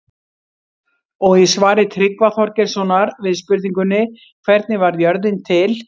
Og í svari Tryggva Þorgeirssonar við spurningunni Hvernig varð jörðin til?